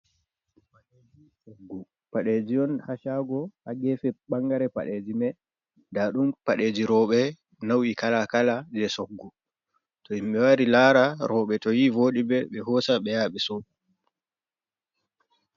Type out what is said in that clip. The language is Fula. Ɗum padeji on ha shago ha gefe bangare padeji mai nda ɗum padeji roɓe nau’i kala kala je soggu, to himbi wari lara roɓe to yi voɗi ɓe ɓe hosa be yaha ɓe sou.